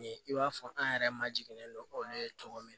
Ni i b'a fɔ an yɛrɛ ma jigilen don olu ye cogo min